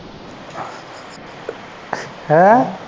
ਹੈ।